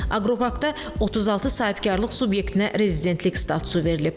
Aqroparkda 36 sahibkarlıq subyektinə rezidentlik statusu verilib.